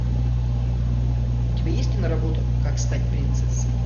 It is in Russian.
у тебя есть киноработа как стать принцессой